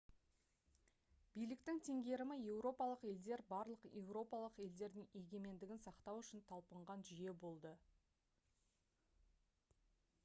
биліктің теңгерімі еуропалық елдер барлық еуропалық елдердің егеменігін сақтау үшін талпынған жүйе болды